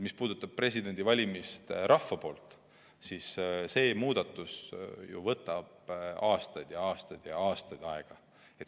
Mis puudutab presidendi valimist rahva poolt, siis see muudatus võtab ju aastaid ja aastaid aega.